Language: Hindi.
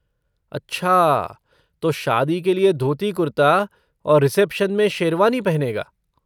अच्छा तो शादी के लिये धोती कुर्ता और रिसेप्शन में शेरवानी पहनेगा।